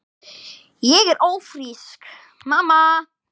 Ég er ófrísk, mamma!